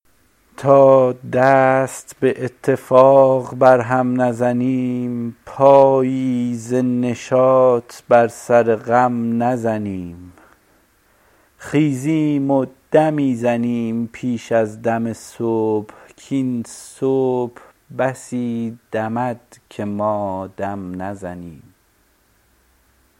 تا دست به اتفاق بر هم نزنیم پایی ز نشاط بر سر غم نزنیم خیزیم و دمی زنیم پیش از دم صبح کاین صبح بسی دمد که ما دم نزنیم